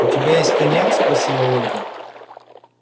у тебя есть коньяк спросила ольга